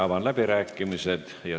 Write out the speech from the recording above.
Avan läbirääkimised.